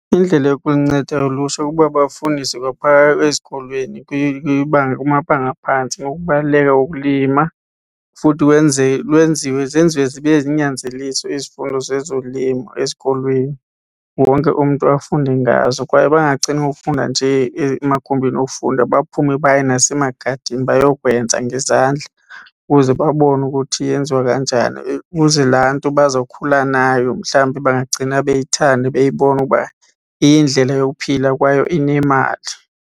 Indlela yokunceda ulutsha kukuba bafundiswe kwaphaya ezikolweni kumabanga aphantsi ngokubaluleka kokulima futhi lwenziwe zenziwe zibe zinyanzeliso izifundo zezolimo ezikolweni. Wonke umntu afunde ngazo, kwaye bangagcini ngokufunda nje emagumbini okufunda baphume baye nasemagadini bayokwenza ngezandla ukuze babone ukuthi yenziwa kanjani, ukuze laa nto bazokhula nayo mhlawumbi bangagcina beyithanda beyibona ukuba iyindlela yokuphila kwaye inemali.